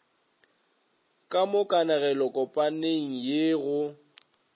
ka mo kanegelokopaneng ye go